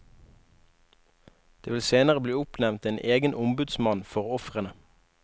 Det vil senere bli oppnevnt en egen ombudsmann for ofrene.